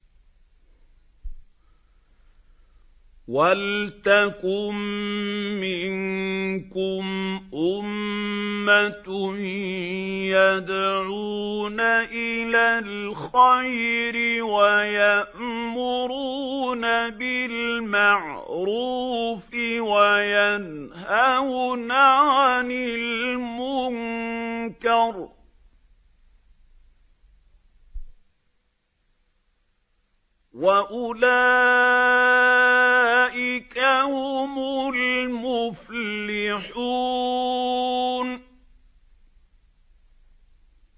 وَلْتَكُن مِّنكُمْ أُمَّةٌ يَدْعُونَ إِلَى الْخَيْرِ وَيَأْمُرُونَ بِالْمَعْرُوفِ وَيَنْهَوْنَ عَنِ الْمُنكَرِ ۚ وَأُولَٰئِكَ هُمُ الْمُفْلِحُونَ